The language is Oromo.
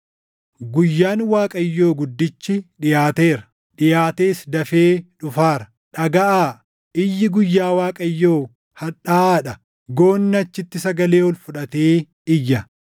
Guyyaan Waaqayyoo guddichi dhiʼaateera; dhiʼaatees dafee dhufaara. Dhagaʼaa! Iyyi guyyaa Waaqayyoo hadhaaʼaa dha; goonni achitti sagalee ol fudhatee iyya.